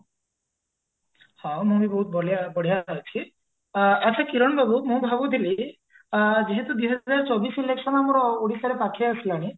ମୁଁ ବି ବହତୁ ବଢିଆ ବଢିଆ ଅଛି ଆଚ୍ଛା କିରଣ ବାବୁ ମୁଁ ଭାବୁଥିଲି ଆ ଯେହେତୁ ଦିହଜାର ଚବିଶ election ଆମର ପାଖେଇଆସିଲାଣି